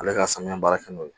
Ale ka sanuya baara kɛ n'o ye